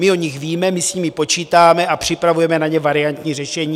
My o nich víme, my s nimi počítáme a připravujeme na ně variantní řešení.